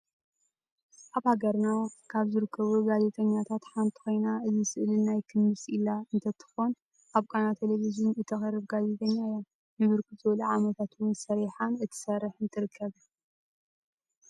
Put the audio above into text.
አብ ሃገርና ካበ ዝርከቡ ጋዜጠኛታት ሓንቲ ኮይና እዚ ስእሊ ናይ ክምስ ኢላ እንትትኮን አብ ቃና ቴሊቨዠን እተቅርብ ጋዜጠኛ እያ ንብርክት ዝብሉ ዓመታት እውን ሰሪሓን ትሰርሕን ትርከብ።